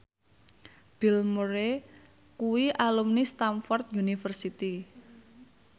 Bill Murray kuwi alumni Stamford University